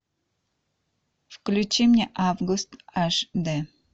включи мне август аш д